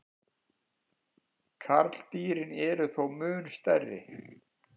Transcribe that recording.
Karldýrin eru þó mun stærri.